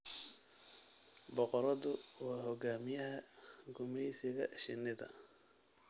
Boqoradu waa hogaamiyaha gumaysiga shinnida.